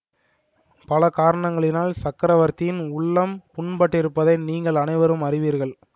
பல காரணங்களினால் சக்கரவர்த்தியின் உள்ளம் புண்பட்டிருப்பதை நீங்கள் அனைவரும் அறிவீர்கள்